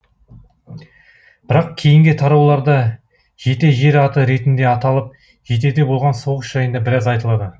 бірақ кейінгі тарауларда жете жер аты ретінде аталып жетеде болған соғыс жайында біраз айтылады